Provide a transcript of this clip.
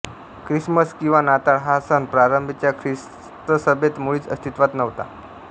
Christmas किवा नाताळ हा सण प्रारंभीच्या ख्रिस्तसभेत मुळीच अस्तित्वात नव्हता